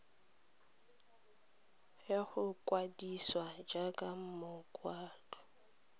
ya go ikwadisa jaaka mokgatlho